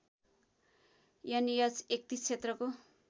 an H ३१ क्षेत्रको